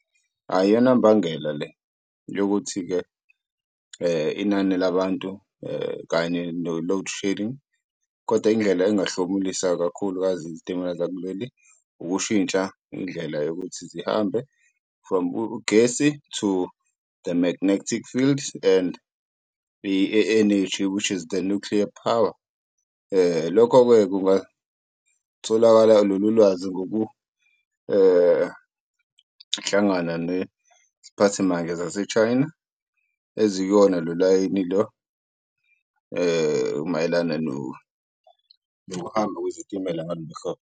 Ayi iyona mbangela le yokuthi-ke inani labantu kanye no-load shedding, koda indlela engahlomulisa kakhulukazi izitimela zakuleli ukushintsha indlela yokuthi zihambe from ugesi to the magnetic field and energy with is the nuclear power. Lokho-ke kungatholakala lolu lwazi neziphathimandla zase-China ezikuwona lo layini lo mayelana nokuhamba kwezitimela ngalolu hlobo.